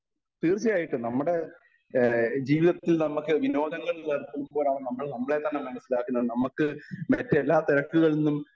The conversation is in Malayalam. സ്പീക്കർ 1 തീർച്ചയായിട്ടും നമ്മുടെ ഏഹ് ജീവിതത്തിൽ നമ്മൾക്ക് വിനോദങ്ങളിൽ ഏർപ്പെടുമ്പോഴാണ് നമ്മൾ നമ്മളെ തന്നെ മനസ്സിലാക്കുന്നത് നമ്മക്ക് മറ്റെല്ലാ തിരക്കുകളിൽ നിന്നും